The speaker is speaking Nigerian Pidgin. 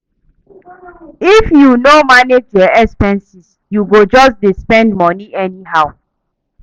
If you no manage your expenses, you go just dey spend moni anyhow.